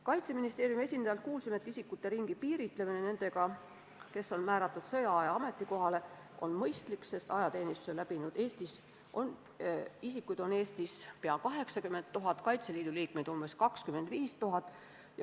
Kaitseministeeriumi esindajalt kuulsime, et isikute ringi piiritlemine nendega, kes on määratud sõjaaja ametikohale, on mõistlik, sest ajateenistuse läbinud isikuid on Eestis peaaegu 80 000, Kaitseliidu liikmeid umbes 25 000.